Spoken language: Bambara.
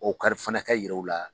O kari fana ka yira o la.